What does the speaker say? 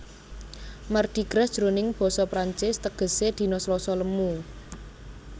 Mardi Gras jroning basa Prancis tegesé dina Slasa lemu